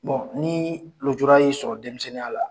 ni lujura y'i sɔrɔ denmisɛnninya la